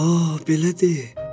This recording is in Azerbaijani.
A belədir.